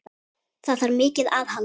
Það þarf mikið aðhald.